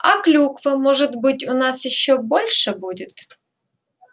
а клюква может быть у нас ещё больше будет